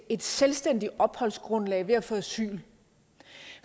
et selvstændigt opholdsgrundlag ved at få asyl